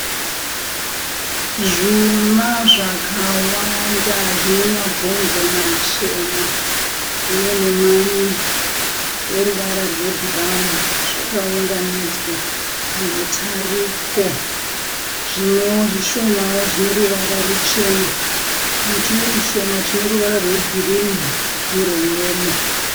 Zvuma zvakawanda zvine mabhonzo machena uye nemamwe eruvara rwe bhurauni zvakaunganidzwa pamutariko. Zvimwewo zvishomawo zvineruvara ruchena netumwe tushoma tune ruvara rwe girinhi nerwe yero.